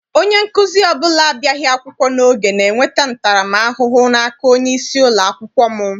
Onye nkụzi ọbụla abịaghị akwụkwọ n'oge na-enweta ntara m ahụhụ n'aka onyeisi ụlọakwụkwọ m.